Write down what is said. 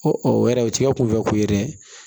o yɛrɛ o t'a kunfɛ ko ye dɛ